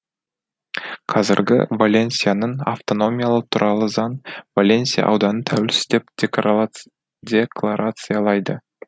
қазіргі валенсияның автономиялығы туралы заң валенсия ауданын тәуелсіз деп декларациялайды